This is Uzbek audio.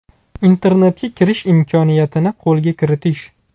Internetga kirish imkoniyatini qo‘lga kiritish.